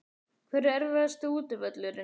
Hver er erfiðasti útivöllurinn?